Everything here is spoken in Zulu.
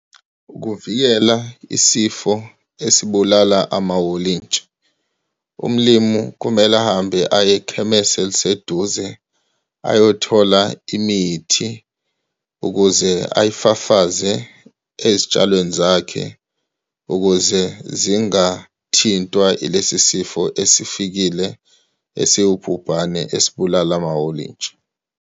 Ukuvikela isifo esibulala amawolintshi, umlimu kumele ahambe aye ekhemesi eliseduze ayothola imithi ukuze ayifafaze ezitshalweni zakhe, ukuze zingathintwa ilesi sifo esifikile, esiwubhubhane, esibulala amawolintshi.